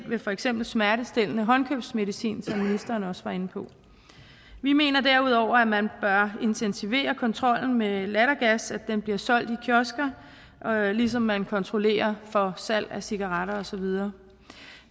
med for eksempel smertestillende håndkøbsmedicin som ministeren også var inde på vi mener derudover at man bør intensivere kontrollen med lattergas når den bliver solgt i kiosker ligesom man kontrollerer salg af cigaretter og så videre